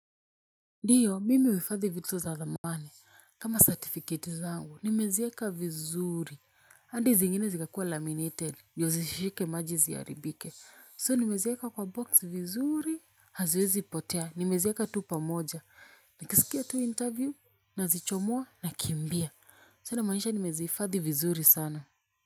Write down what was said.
Ndiyo mimi huhifadhi vitu za za thamani kama certificate zangu nimezieka vizuri hadi zingine zikakua laminated ndio zishike maji ziharibike So nimezieka kwa box vizuri haziwezi potea nimezieka tu pamoja na kisikia tu interview na zichomua na kimbia So inamaanisha nimezihifadhi vizuri sana.